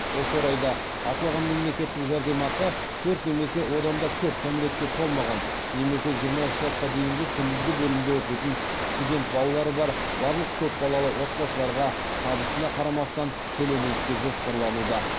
осы орайда аталған мемлекеттік жәрдемақы төрт немесе одан да көп кәмелетке толмаған немесе жиырма үш жасқа дейінгі күндізгі бөлімде оқитын студент балалары бар барлық көпбалалы отбасыларға табысына қарамастан төленеді деп жоспарлануда